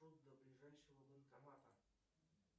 до ближайшего банкомата